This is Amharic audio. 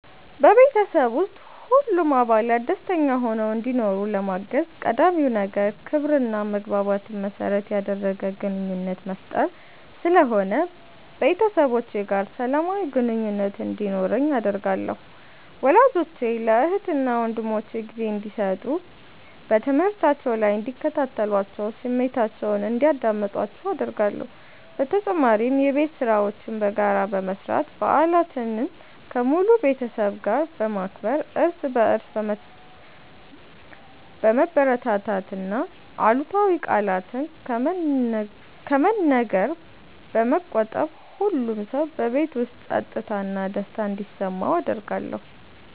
በቤተሰብ ውስጥ ሁሉም አባላት ደስተኛ ሆነው እንዲኖሩ ለማገዝ ቀዳሚው ነገር ክብርና መግባባትን መሠረት ያደረገ ግንኙነት መፍጠር ስለሆነ ቤተሰቦቼ ጋር ሰላማዊ ግንኙነት እንዲኖረኝ አደርጋለሁ። ወላጆቼ ለእህትና ወንድሞቼ ጊዜ እንዲሰጡ፣ በትምህርታቸው ላይ እንዲከታተሏቸውና ስሜታቸውን እንዲያዳምጡአቸው አደርጋለሁ። በተጨማሪም የቤት ሥራዎችን በጋራ በመስራት፣ በዓላትን ከሙሉ ቤተሰብ ጋር በማክበር፣ እርስ በርስ በመበረታታትና አሉታዊ ቃላትን ከመነገር በመቆጠብ ሁሉም ሰው በቤት ውስጥ ፀጥታና ደስታ እንዲሰማው አደርጋለሁ።